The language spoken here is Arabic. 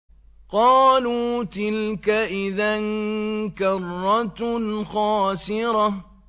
قَالُوا تِلْكَ إِذًا كَرَّةٌ خَاسِرَةٌ